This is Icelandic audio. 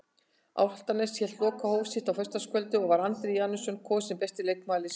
Álftanes hélt lokahóf sitt á föstudagskvöldið og var Andri Janusson kosinn besti leikmaður liðsins.